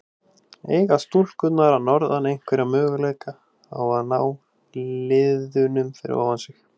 Eiga stúlkurnar að norðan einhverja möguleika á að ná liðunum fyrir ofan sig?